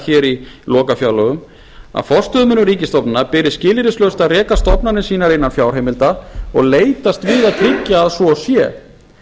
hér í lokafjárlögum að forstöðumönnum ríkisstofnana beri skilyrðislaust að reka stofnanir sínar innan fjárheimilda og leitast við að tryggja að svo sé